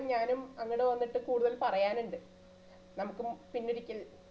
എന്തായലും ഞാനും അങ്ങട് വന്നിട്ട് കൂടുതൽ പറയാനുണ്ട് നമുക്കും പിന്നൊരിക്കൽ